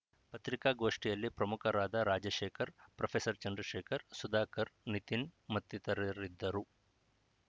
ಪತ್ರಿಕಾಗೋಷ್ಠಿಯಲ್ಲಿ ಪ್ರಮುಖರಾದ ರಾಜಶೇಖರ್‌ ಪ್ರೊಫೆಸರ್ ಚಂದ್ರಶೇಖರ್‌ ಸುಧಾಕರ್‌ ನಿತಿನ್‌ ಮತ್ತಿತರರಿದ್ದರು